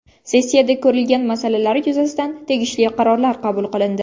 Sessiyada ko‘rilgan masalalar yuzasidan tegishli qarorlar qabul qilindi.